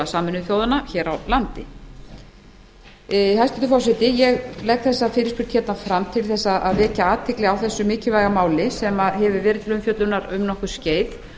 sameinuðu þjóðanna hér á landi hæstvirtur forseti ég legg þessa fyrirspurn hérna fram til þess að vekja athygli á þessu mikilvæga máli sem hefur verið til umfjöllunar um nokkurt skeið